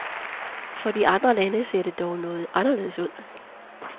For de andre lande ser det dog noget anderledes ud.